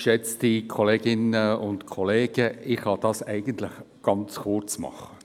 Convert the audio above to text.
Ich kann es eigentlich ganz kurz machen.